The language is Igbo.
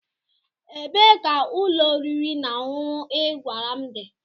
Ebee ka ụlọ oriri na ọṅụṅụ ị gwara m dị?